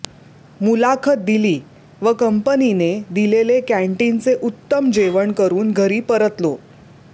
मुलाखत दिली व कंपनीने दिलेले कँटीनचे उत्तम जेवण करून घरी परतलो